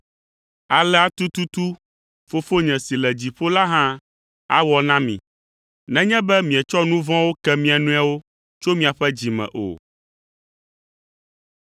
“Alea tututu Fofonye si le dziƒo la hã awɔ na mi nenye be mietsɔ nu vɔ̃wo ke mia nɔewo tso miaƒe dzi me o.”